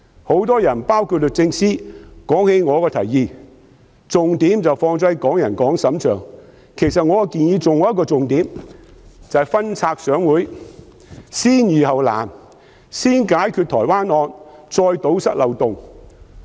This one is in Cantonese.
很多人——包括律政司司長——提及我的提議時，均把重點放在"港人港審"上，其實我的建議還有一個重點，就是"分拆上會，先易後難"，先解決台灣謀殺案的問題，再堵塞漏洞。